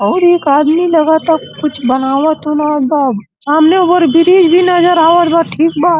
और एक आदमी लगा ता कुछ बनावत उनवत बा। सामने ओवरब्रिज भी नज़र आवत बा ठीक बा।